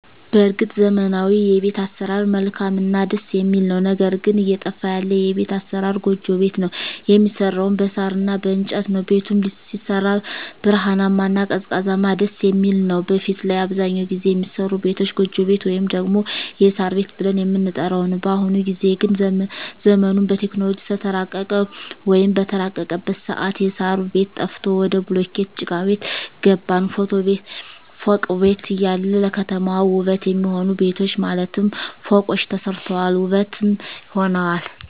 በርግጥ ዘመናዊዉ የቤት አሰራር መልካምእና ደስ የሚል ነዉ ነገር ግን እየጠፋ ያለ የቤት አሰራር ጎጆ ቤት ነዉ የሚሰራዉም በሳር እና በእንጨት ነዉ ቤቱም ሲሰራ ብርሃናማ እና ቀዝቃዛም ደስየሚል ነዉ በፊት ላይ አብዛኛዉን ጊዜ የሚሰሩ ቤቶች ጎጆ ቤት ወይም ደግሞ የሳር ቤት ብለን የምንጠራዉ ነዉ በአሁኑ ጊዜ ግን ዘመኑም በቴክኖሎጂ ስለተራቀቀ ወይም በተራቀቀበት ሰአት የእሳሩ ቤት ጠፍቶ ወደ ቡሉኬት ጭቃቤት ገባን ፎቅ ቤት እያለ ለከተማዋ ዉበት የሚሆኑ ቤቶች ማለትም ፎቆች ተሰርተዋል ዉበትም ሆነዋል